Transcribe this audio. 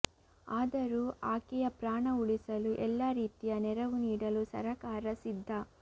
ಆದರೂ ಆಕೆಯ ಪ್ರಾಣ ಉಳಿಸಲು ಎಲ್ಲ ರೀತಿಯ ನೆರವು ನೀಡಲು ಸರಕಾರ ಸಿದ್ಧ